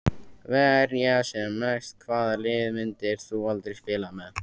Verja sem mest Hvaða liði myndir þú aldrei spila með?